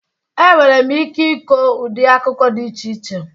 Enwere m ike ịkọ ụdị akụkọ dị iche iche